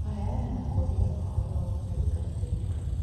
Kũheana na Kũria Ũhoro wa Ũtungatĩri